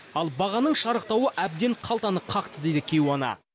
ал бағаның шарықтауы әбден қалтаны қақты дейді кейуана